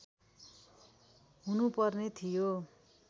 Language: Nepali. हुनु पर्ने थियो